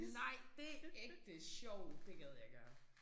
Nej det ægte sjovt det gad jeg gerne